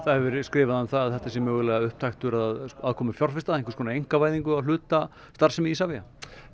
hefur verið skrifað um það að þetta sé mögulega upptaktur að aðkomu fjárfesta einhvers konar einkavæðingu á hluta starfsemi Isavia